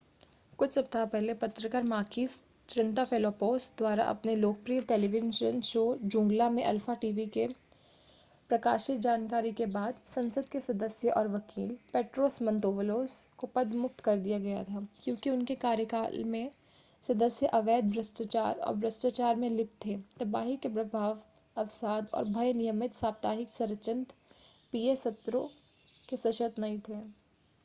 कुछ सप्ताह पहले पत्रकार माकीस त्रिनताफेलोपोस द्वारा अपने लोकप्रिय टेलीविजन शो ज़ूंगला में अल्फा टीवी में प्रकाशित जानकारी के बाद संसद के सदस्य और वकील पेट्रोस मंतौवलोस को पदमुक्त कर दिया गया था क्योंकि उनके कार्यालय के सदस्य अवैध भ्रष्टाचार और भ्रष्टाचार में लिप्त थे तबाही के प्रभाव अवसाद और भय नियमित साप्ताहिक संरचित पीए सत्रों के सशर्त नहीं थे